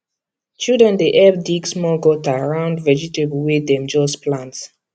children dey help dig small gutter round vegetable wey dem just plant